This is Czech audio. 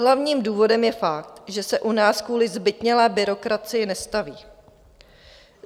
Hlavním důvodem je fakt, že se u nás kvůli zbytnělé byrokracii nestaví.